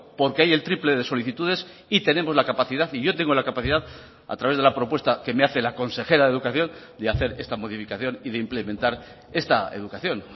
porque hay el triple de solicitudes y tenemos la capacidad y yo tengo la capacidad a través de la propuesta que me hace la consejera de educación de hacer esta modificación y de implementar esta educación